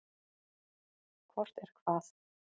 Hvort er hvað?